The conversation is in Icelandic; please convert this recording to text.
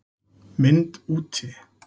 MYND úti